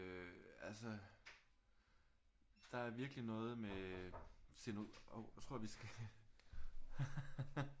Øh altså der er virkelig noget med sceno hov nu tror jeg vi skal